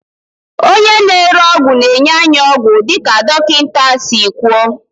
onye na-ere ọgwụ na-enye anyị ọgwụ dịka dọkịta si kwuo